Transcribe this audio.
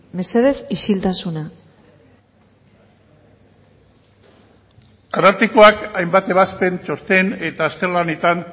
mesedez isiltasuna arartekoak hainbat ebazpen txosten eta azterlanetan